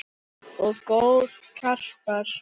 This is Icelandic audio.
Goð og garpar